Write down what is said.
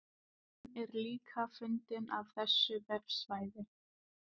Myndin er líka fengin af þessu vefsvæði.